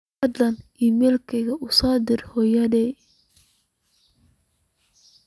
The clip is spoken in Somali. fadlan iimayl u soo dir hooyaday